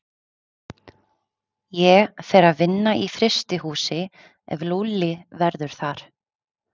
Ég fer að vinna í frystihúsi ef Lúlli verður þar.